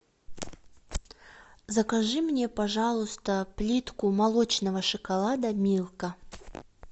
закажи мне пожалуйста плитку молочного шоколада милка